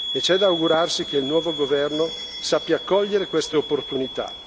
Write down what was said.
C'è da augurarsi che il nuovo governo sappia cogliere queste opportunità.